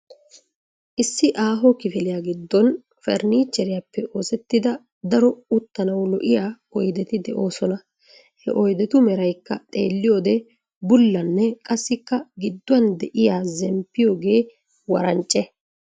Issi aaho kifiliyaa giddon farinnicheriyappe oosetida daro uttanaw lo"iya oyddeti de'oosona. He oyddetu meraykka xeeliyoode bullanne qassikka gidduwan de'iyaa zemppiyooge warancce.